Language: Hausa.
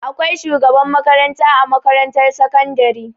Akwai shugaban makaranta a makarantar sakandari.